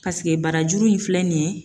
Paseke barajuru in filɛ nin ye